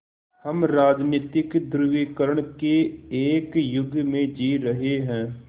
हम राजनीतिक ध्रुवीकरण के एक युग में जी रहे हैं